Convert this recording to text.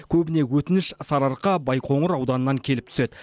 көбіне өтініш сарыарқа байқоңыр ауданынан келіп түседі